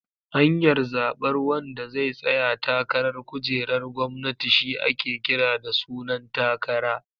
Hanyar zabar wanda zai tsaya takarar kujerar gwamnati shi ake kira da sunan takara.